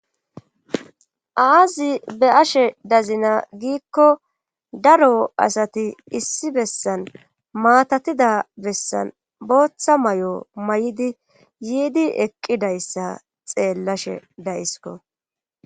aazi be7ashe dazina giikko daro asati issi bessan maatatida bessan booththa mayo mayidi yiidi eqqidayssa xeellashe dayisko.